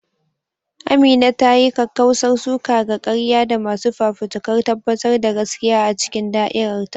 Amina ta yi kakkausar suka ga ƙarya da masu fafutukar tabbatar da gaskiya a cikin da'irar ta.